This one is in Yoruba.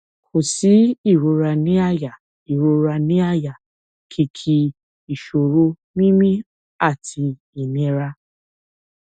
kò sí ìrora ní àyà ìrora ní àyà kìkì ìṣòro mímí àti ìnira